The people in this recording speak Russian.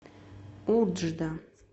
уджда